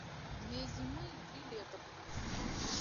две зимы и три лета включи